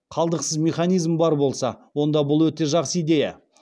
қалдықсыз механизм бар болса онда бұл өте жақсы идея